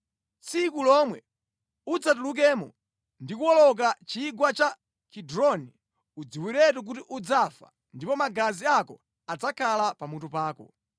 Tsiku lomwe udzatulukemo ndi kuwoloka Chigwa cha Kidroni, udziwiretu kuti udzafa ndipo magazi ako adzakhala pamutu pako.”